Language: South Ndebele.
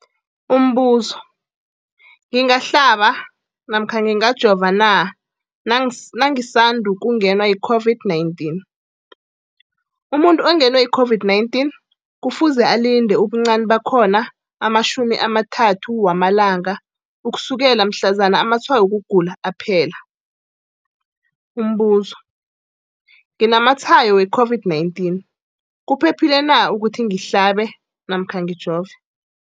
Umbuzo, ngingahlaba namkha ngingajova na nangisandu kungenwa yi-COVID-19? Umuntu ongenwe yi-COVID-19 kufuze alinde ubuncani bakhona ama-30 wama langa ukusukela mhlazana amatshayo wokugula aphela. Umbuzo, nginamatshayo we-COVID-19, kuphephile na ukuthi ngihlabe namkha ngijove?